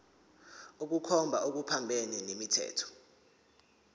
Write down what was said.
ukukhomba okuphambene nomthetho